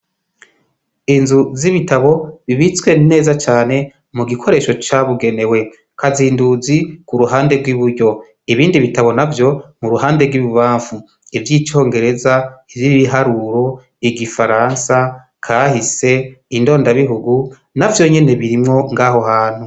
Inzu zibitabo zibitse neza cane mugikoresho cabugenewemwo kazinduzi kuruhande rwiburyo ibindi bitabo navyo iruhande yibubamfu ivyicongereza ivyibiharuro igifaransa kahise indoda bihugu navyonyene birimwo ngaho hantu